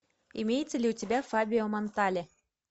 имеется ли у тебя фабио монтале